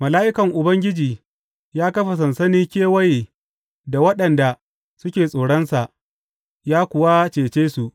Mala’ikan Ubangiji ya kafa sansani kewaye da waɗanda suke tsoronsa, ya kuwa cece su.